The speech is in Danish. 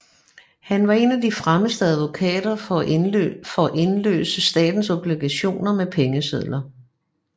Han var en af de fremmeste advokater for indløse statens obligationer med pengesedler